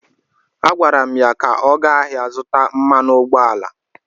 A gwara m ya ka ọ gaa ahịa zụta mmanụ ụgbọala!